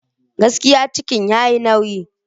Gaskiya! ciki yayi nauyi.